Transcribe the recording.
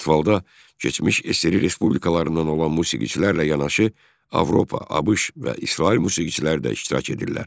Festivalda keçmiş SSRİ respublikalarından olan musiqiçilərlə yanaşı Avropa, ABŞ və İsrail musiqiçiləri də iştirak edirlər.